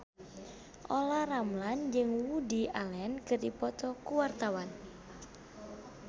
Olla Ramlan jeung Woody Allen keur dipoto ku wartawan